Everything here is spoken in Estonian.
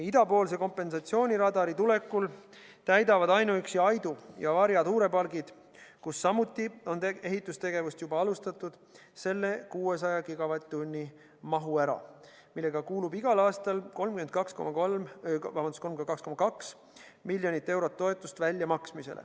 Idapoolse kompensatsiooniradari tulekul täidavad ainuüksi Aidu ja Varja tuulepargid, kus samuti on ehitustegevust juba alustatud, selle 600 gigavatt-tunni mahu ära, mille korral tuleb igal aastal 32,2 miljonit eurot toetust välja maksta.